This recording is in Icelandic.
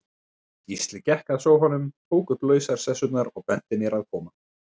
Gísli gekk að sófanum, tók upp lausar sessurnar, og benti mér að koma.